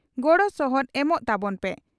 ᱜᱚᱲᱚ ᱥᱚᱦᱚᱫ ᱮᱢᱚᱜ ᱛᱟᱵᱚᱱ ᱯᱮ ᱾